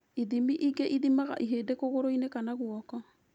Ithimi ingĩ ithimaga ihĩndĩ kũgũrũ-inĩ kana guoko